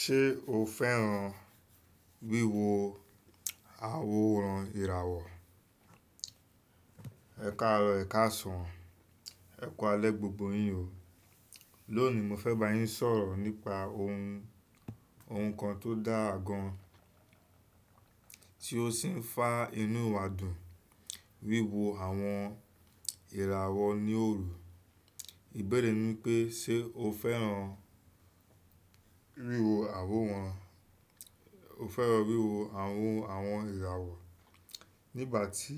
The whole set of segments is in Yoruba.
Ṣé o fẹ́ràn wíwo àwọn oòrùn ìràwọ̀? Ẹ káàárọ̀, ẹ̀ káàsán, ẹ̀ kú alẹ́ gbogbo yín o. Loni mo fe bayin sọ̀rọ̀ nípa ohun nkan to daa gan, ti o si n faa inú wa dùn, wiwo àwọn ìràwọ̀ ni oru ìbéèrè mi pé ṣe o fẹ́ràn wíwo àwo wọn, o fẹ́ràn wíwo àwọn, àwọn ìràwọ̀? Nígbà ti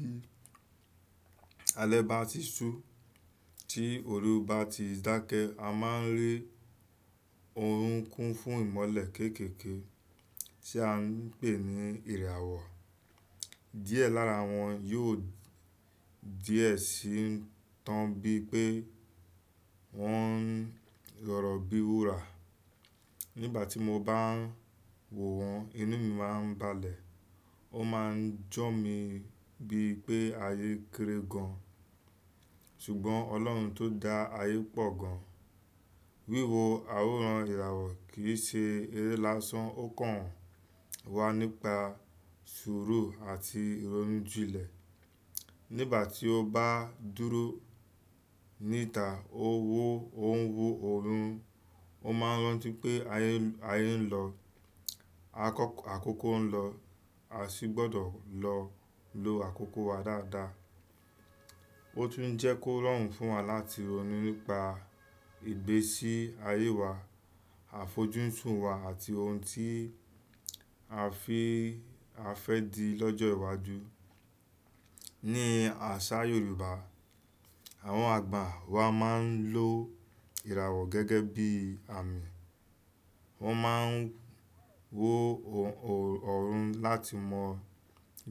alè ba ti su ti oru bati dakẹ a ma n ri ọrun kun fún imọlẹ keekeke ti a n pe ni ìràwọ̀. Díẹ̀ lára wọn yóò díẹ̀ sí i tán bíi pé wọ́n ń rọ̀rọ̀ bíi wúrà. Nígbà tí mo bá ń wò wọ́n, inú mi má ń balẹ̀. Ó má ń jọ mi bíi pé ayé kéré gan an. Ṣùgbọ́n Ọlọ́run tó dá ayé pọ̀ gan an. Wíwo àwọn ìràwọ̀ kì í ṣe eré lásán. Ó kàn wá nípa sùúrù àti ìrónújílẹ̀. Nígbà tí o bá dúró níta, o wo, o ń wo ọ̀run, o má ń rántí pé ayé, ayé ń lọ. Akọ́kọ́, àkókò ń lọ. Asi gbọdọ lo àkókò waa daada. Ó tún ń jẹ́ kó rọrùn fún wa láti ronu nípa ìgbésí ayé wa, àfojúsùn wa àti ohun tí a fẹ́, a fẹ di lọ́jọ́ iwájú. Ní àṣà Yorùbá, àwọn àgbà wa máa ń lo ìràwọ̀ gẹ́gẹ́ bí àmì. Wọn máa ń wo ọ̀run láti mọ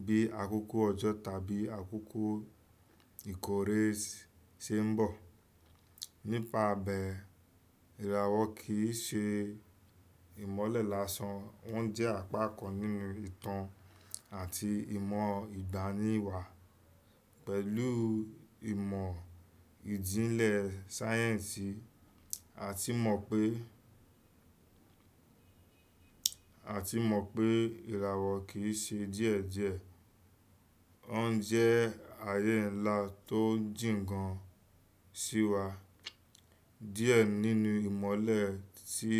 bí àkókò ọjọ́ tàbí àkókò ìkórè ṣe ń bọ̀. Nípa bẹ́, ìràwọ̀ kì í ṣe ìmọ́lẹ̀ lásán. Wọ́n jẹ́ àpákan nínú ìtàn àti ìmọ̀ ìgbaniwà. Pẹ̀lú ìmọ̀ ìjìnlẹ̀ sáyẹ̀nsì, a ti mọ pé, a ti mọ pé ìràwọ̀ kì í ṣe díẹ̀ díẹ̀. Ó ń jẹ́ ayé ńlá tó ń jìǹn gan sí wa. Díẹ̀ nínú ìmọ́lẹ̀ tí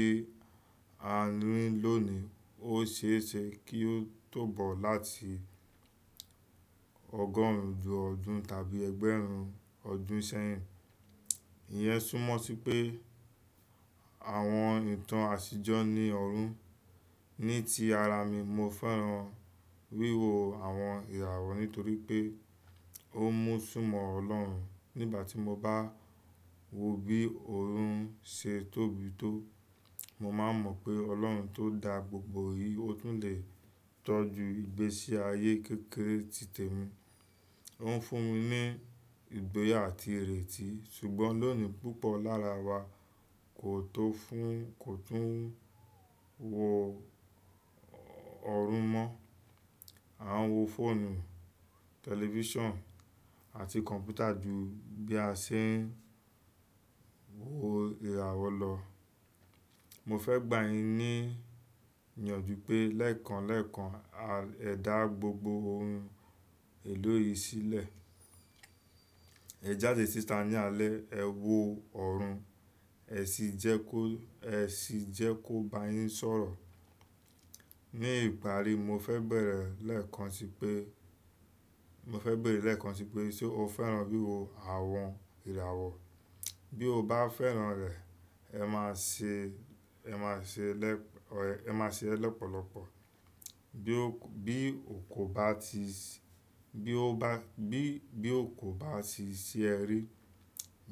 a ní lónìí. Ó ṣe é ṣe kí ó tó bọ̀ láti ọgọrùn ju ọdún tàbí ẹgbẹ́run ọdún sẹ́yìn. Ìyẹn súnmọ́ sí pé àwọn ìtàn àṣìjọ̀ ni ọ̀run. Ní ti ara mi, mo fẹ́ràn wíwo àwọn ìràwọ̀ nítorí pé ó mú ṣù mọ́ Ọlọ́run. Nígbà tí mo bá wo bí ọ̀run ṣe tóbi tó, mo máa mọ̀ pé Ọlọ́run tó dá gbogbo yìí, ó tún lè tọ́jú ìgbésí ayé kékeré titẹ mi. Ó ń fún mi ní ìgboyà àti ìrètí. Ṣùgbọ́n lónìí púpọ̀ lára wa kò tọ fún, kò tún ń wo ọ̀run mọ́. A ń wo fóònù, tẹlifíṣàn àti kọ̀m̀pútà ju bí a ṣe ń wo ìràwọ̀ lọ. Mo fẹ gba yin ni iyanju pe lẹkan lẹkan ẹda gbogbo ìlú yìí sílẹ̀. Ẹ jáde síta ní alẹ́, ẹ wo ọ̀run, ẹ sì jẹ́ kó, ẹ sì jẹ́ kó bá yín sọ̀rọ̀. Ní ìpàrí mo fẹ bẹ̀rẹ̀ lẹ́ẹ̀kan sí pé, mo fẹ bere lẹ́ẹ̀kan sí pé ṣe o fẹ́ràn wíwo àwọn ìràwọ̀? Bí o bá fẹ́ràn rẹ̀, ẹ má ṣe, ẹ má ṣe lẹ́, ẹ má ṣe ẹ lọ́pọ̀lọpọ̀. Bí o kò, bí ó kò bá ti, bí ó bá, bí, bí ó kò bá ti ṣí ẹ rí,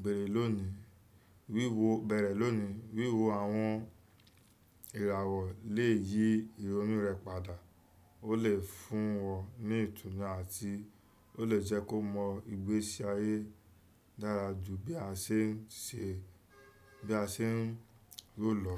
bere lónìí. Wíwo, bẹ̀rẹ̀ lónìí. Wíwo àwọn ìràwọ̀ lè yí ìrònú rẹ padà. Ó lè fún ẹ ní ìtùnú àti ó lè jẹ́ kó mọ ìgbésí ayé dára ju bí a ṣe ń ṣe, bí a ṣe ń ro lọ.